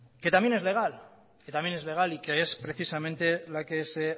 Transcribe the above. que también es legal que también es legal y que es precisamente la que se